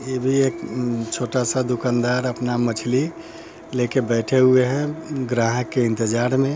ये भी एक उम्म छोटा सा दुकानदार अपना मछ्ली ले के बैठे हुए हैं ग्राहक के इंतजार मे।